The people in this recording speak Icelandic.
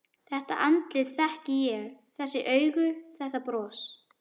Þetta andlit þekki ég: Þessi augu, þetta bros.